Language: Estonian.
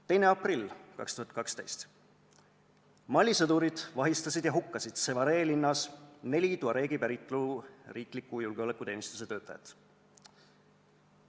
2. aprill 2012: Mali sõdurid vahistasid ja hukkasid Sévaré linnas neli tuareegi päritolu riikliku julgeolekuteenistuse töötajat.